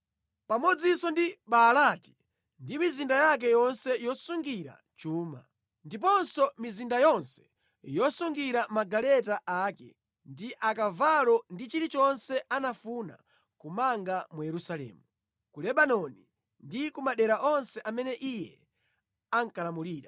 pamodzinso ndi Baalati ndi mizinda yake yonse yosungira chuma, ndiponso mizinda yonse yosungiramo magaleta ake ndi akavalo ndi chilichonse anafuna kumanga ku Yerusalemu, ku Lebanoni ndi ku madera onse amene iye ankalamulira.